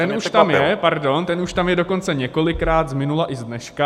Ten už tam je, pardon, ten už tam je dokonce několikrát z minula i z dneška.